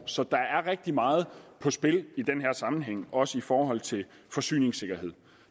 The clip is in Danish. så der er rigtig meget på spil i den her sammenhæng også i forhold til forsyningssikkerhed